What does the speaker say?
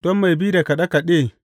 Don mai bi da kaɗe kaɗe.